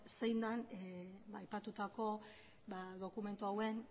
zein den aipatutako dokumentu hauen